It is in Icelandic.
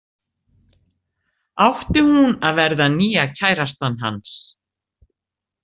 Átti hún að verða nýja kærastan hans?